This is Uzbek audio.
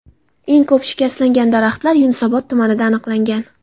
Eng ko‘p shikastlangan daraxtlar Yunusobod tumanida aniqlangan.